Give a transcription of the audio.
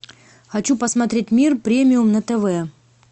хочу посмотреть мир премиум на тв